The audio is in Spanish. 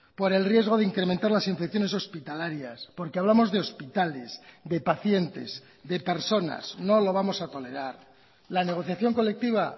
por el riesgo de incrementar las infecciones hospitalarias porque hablamos de hospitales de pacientes de personas no lo vamos a tolerar la negociación colectiva